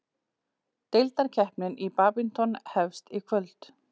Deildakeppnin í badminton hefst í kvöld